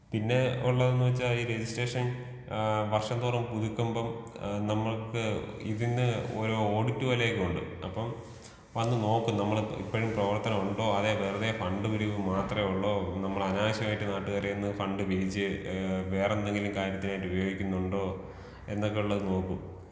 പിന്നെ ഉള്ളതെന്ന് വെച്ചാ ഈ രെജിസ്ട്രേഷൻ ആ വർഷം തോറും പുതുക്കുമ്പോ ഏഹ് നമ്മുക്ക് ഇതിന്ന് ഒരു ഓഡിറ്റ് പോലെ ഒക്കെയുണ്ട് അപ്പോ വന്ന് നോക്കും നമ്മൾ ഇപ്പളും പ്രവർത്തനം ഉണ്ടോ? അതെ വെറുതെ ഫണ്ട് പിരിവ് മാത്രേ ഒള്ളോ? നമ്മൾ അനാവശ്യമായിട്ട് നാട്ടുകാരെര്ന്ന് ഫണ്ട് പിരിച്ച് ഏഹ് വേറെ എന്തെങ്കിലും കാര്യത്തിന് വേണ്ടി ഉപയോഗിക്കുന്നുണ്ടോ? എന്നൊക്കെയുള്ളത് നോക്കും.